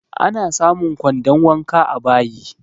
Ana samun kwandon wanka a bayi